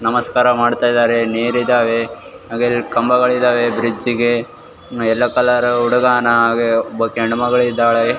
ನಮಸ್ಕಾರ ಮಾಡ್ತಾ ಇದಾರೆ ನೀರ್ ಇದಾವೆ ಹಾಗೆ ಎರಡು ಕಂಬಗಳು ಇದಾವೆ ಬ್ರಿಡ್ಜ್ ಗೆ ಎಲ್ಲೋ ಕಲರ್ ಹುಡುಗಾನ ಒಬ್ಬಾಕೆ ಹೆಣ್ಣುಮಗ್ಳಿದಾಳೆ .